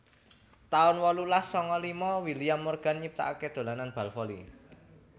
taun wolulas sanga lima William Morgan nyiptakaké dolanan bal voli